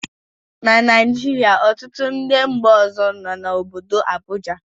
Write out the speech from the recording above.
na Naijiria, ọtụtụ ndị mba ọzọ nọ n'obodo Abuja